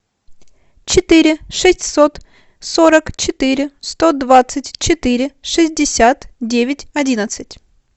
четыре шестьсот сорок четыре сто двадцать четыре шестьдесят девять одиннадцать